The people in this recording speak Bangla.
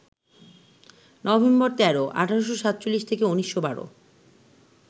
নভেম্বর ১৩, ১৮৪৭ - ১৯১২